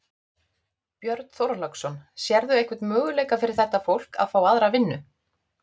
Björn Þorláksson: Sérðu einhvern möguleika fyrir þetta fólk að fá aðra vinnu?